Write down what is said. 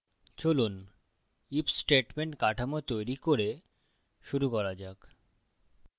চলুন if statement কাঠামো তৈরি করে শুরু করা যাক